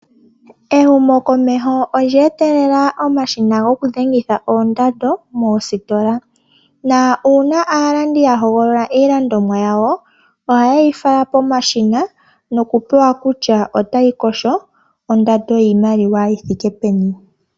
Ehumo komeho olyee tekela omashina goku dhengitha oondando moositola, na uuna aalandi yahogolola iilandomwa yawo, ohaye yi fala omashina noku pewa kutya otayi kosho ondando yiimaliwa yithike peni?